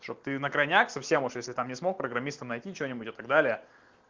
чтоб ты на крайняк совсем уж если там не смог программисту найти что-нибудь и так далее